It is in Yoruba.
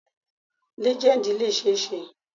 Lejendi le ṣee ṣe